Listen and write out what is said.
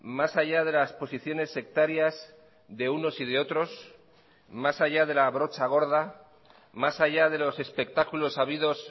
más allá de las posiciones sectarias de unos y de otros más allá de la brocha gorda más allá de los espectáculos habidos